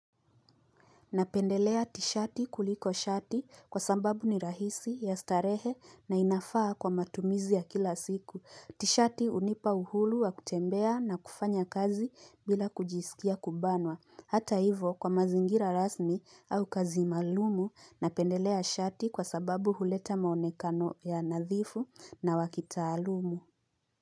Napendelea tishati kuliko shati kwa sambabu ni rahisi ya starehe na inafaa kwa matumizi ya kila siku. Tishati unipa uhulu wa kutembea na kufanya kazi bila kujisikia kubanwa. Hata hivo kwa mazingira rasmi au kazi malumu napendelea shati kwa sababu huleta maonekano ya nadhifu na wakitaalumu.